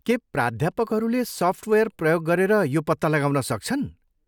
के प्राध्यापकहरूले सफ्टवेयर प्रयोग गरेर यो पत्ता लगाउन सक्छन्?